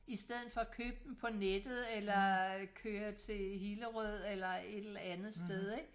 I stedet for at købe dem på nettet eller køre til Hillerød eller et eller andet sted ikke